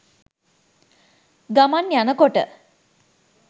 ගමන් යනකොට